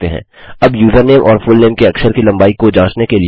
अब यूजरनेम और फुलनेम के अक्षर की लम्बाई को जाँचने के लिए